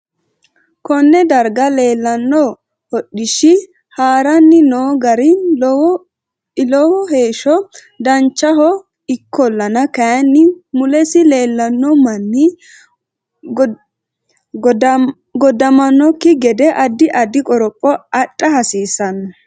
Konee darga leelanno hodhishi haranni noo gari lwo heesha danchaho ikkolanna kayiini mulesi leelanno manni goddamanokki gede addi addi qoropho adha hasiisanno